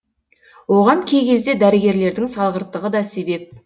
оған кей кезде дәрігерлердің салғырттығы да себеп